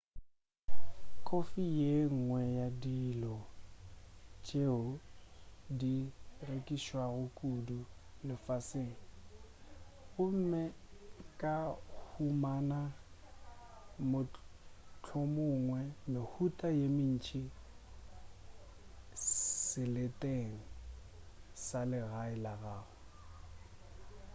kofi ke yenngwe ya dilo tšeo di rekišwago kudu lefaseng gomme o ka humana mohlomongwe mehuta ye mentši seleteng sa legae la gago